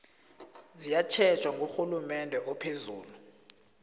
ziyatjhejwa ngurhulumende ophezulu